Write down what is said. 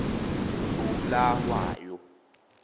bulawayo